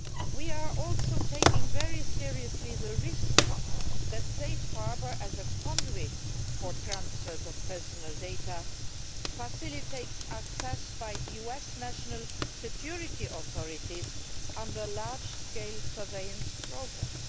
We also take very seriously the risk that Safe Harbour, as a conduit for transfers of personal data, facilitates access by US national security authorities under large scale surveillance programmes.